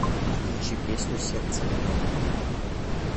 включи песню сердце мое